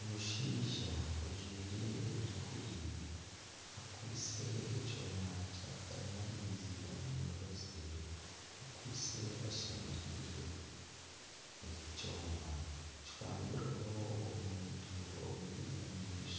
Omushaija ayemereire omumaisho g'akanju aku barikugurizamu enyama ondiijo ari omunda omu kanju enyama ekwasize aha diriisa omuntu ori aheeru